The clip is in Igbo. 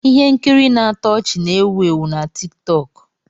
Ihe nkiri na-atọ ọchị na-ewu ewu na tiktoku